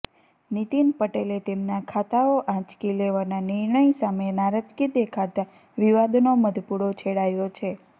નીતિન પટેલે તેમના ખાતાઓ આંચકી લેવાના નિર્ણય સામે નારાજગી દેખાડતા વિવાદનો મધપુડો છેડાયો છે